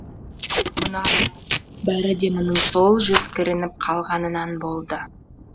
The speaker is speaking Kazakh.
мұнара бәрі де мұның сол жөткірініп қалғанынан болды